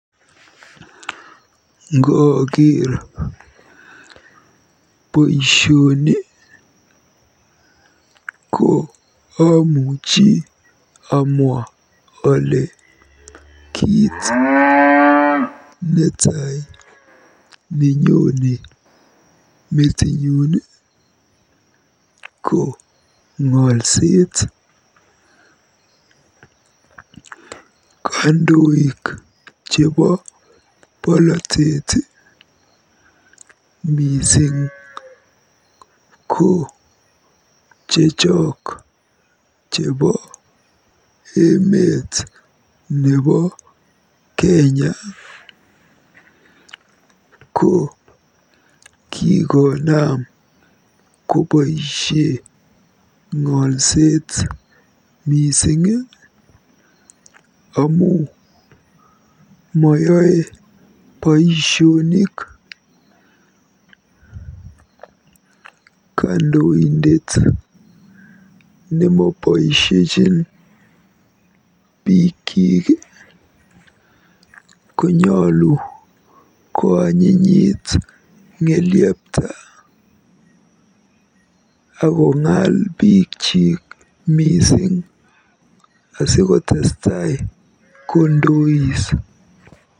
Ngooker boisioni ko omuchi amwa ole kiit netai nenyone metinyun ko ng'olset. Kandoik chebo polotet, mising ko chechok chebo emetab Kenya, ko kikonam koboisie ng'olset mising amu moyoe boisionik. Kandoindet nemoboisiechin biikyik konyolu koanyinyit ng'elyepta akong'aal bikyik mising asikotestai kondois.